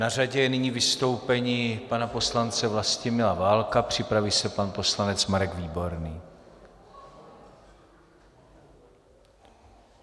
Na řadě je nyní vystoupení pana poslance Vlastimila Válka, připraví se pan poslanec Marek Výborný.